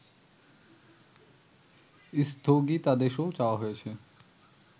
স্থগিতাদেশও চাওয়া হয়েছে